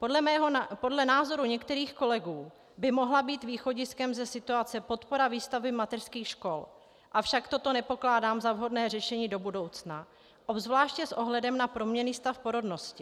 Podle názoru některých kolegů by mohla být východiskem ze situace podpora výstavby mateřských škol, avšak toto nepokládám za vhodné řešení do budoucna, obzvláště s ohledem na proměnný stav porodnosti.